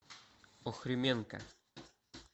охрименко